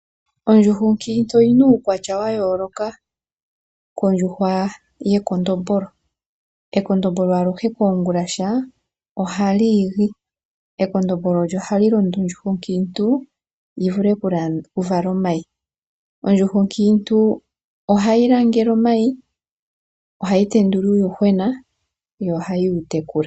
Ondjuhwa onkiintu oyina uukwatya wayoloka kondjuhwa yekondombolo. Ekondombolo aluhe koongulasha ohali igi. Ekondombolo olyo halilondo ondjuhwa onkiintu yivule okuvala omayi. Ondjuhwa onkiintu ohayi langele omayi, ohayi tendula uuyuhwena, yo ohayi wutekula.